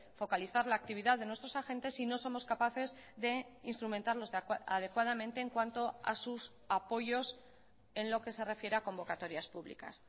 focalizar la actividad de nuestros agentes si no somos capaces de instrumentarlos adecuadamente en cuanto a sus apoyos en lo que se refiere a convocatorias públicas